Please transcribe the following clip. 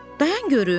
Dayan görüm!